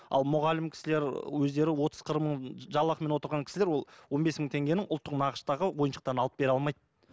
ал мұғалім кісілер өздері отыз қырық мың жалақымен отырған кісілер ол он бес мың теңгенің ұлттық нақыштағы ойыншықтарын алып бере алмайды